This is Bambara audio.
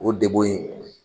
O degun in